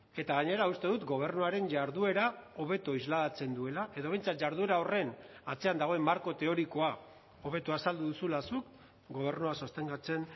eta gainera uste dut gobernuaren jarduera hobeto islatzen duela edo behintzat jarduera horren atzean dagoen marko teorikoa hobeto azaldu duzula zuk gobernua sostengatzen